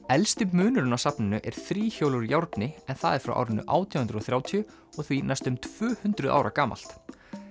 elsti munurinn á safninu er þríhjól úr járni en það er frá árinu átján hundruð og þrjátíu og er því næstum tvö hundruð ára gamalt